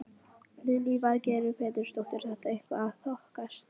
Lillý Valgerður Pétursdóttir: Er þetta eitthvað að þokast?